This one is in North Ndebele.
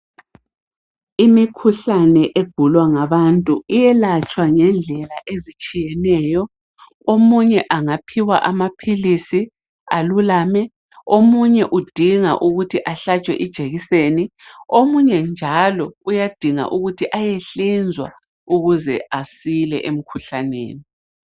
Imikhuhlane egulwa ngabantu iyelatshwa ngendlela ezitshiyeneyo. Omunye angaphiwa amaphilisi alulame, omunye udinga ukuthi ahlatshwe ijekiseni, omunye njalo uyadinga ukuthi ayehlinzwa ukuze asile emkhuhlaneni.